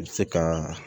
I bɛ se ka